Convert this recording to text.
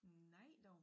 Nej dog